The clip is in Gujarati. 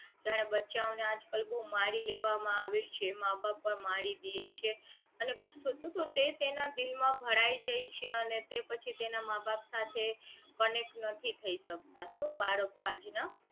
જ્યારે બચ્ચાઓ ને આજકાલ બહુ મારી લેવામાં આવે જે માં બાપ મારી દે છે અને ગુસ્સો તો તે તેના દિલ માં ભરાઈ જાય છે અને તે પછી તેના માં બાપ સાથે connect નથી થઇ શકતા તો બાળકો આજ ના